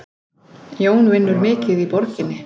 Jón vinnur mikið í borginni.